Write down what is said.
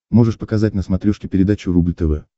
можешь показать на смотрешке передачу рубль тв